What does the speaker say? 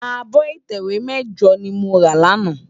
Ábò itèwé mèjò ni mó rá làná